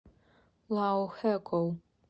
лаохэкоу